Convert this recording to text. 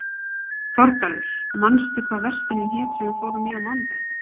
Þorgarður, manstu hvað verslunin hét sem við fórum í á mánudaginn?